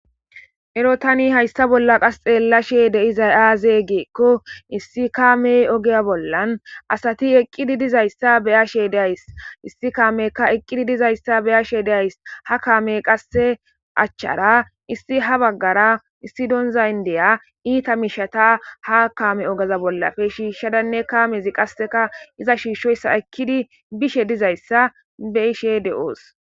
Ero tani hayssa bolla qas xeella she deizay aazee geekko issi kaamey ogeya bollan asati eqqidi dizayssa beya she days issi kaameyka eqqidi dizayssa beya she days ha kaamey qasse achchara issi ha baggara issi donzayndeya iita mishata ha kaame ogaza bollafe shiishshadanne kaamezi qasseka iza shiishshoyssa ekkidi bishe dizayssa be ishe de'oos.